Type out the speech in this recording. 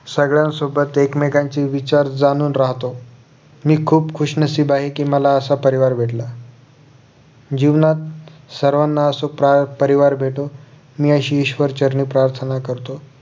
सगळ्यांसोबत एकमेकांची विचार जाणून राहतो मी खुप खुश नशीब आहे कि मला असा परिवार भेटला जीवनात सर्वांना असा परिवार भेटो मी अशी ईश्वर चरणी प्रार्थणा करतो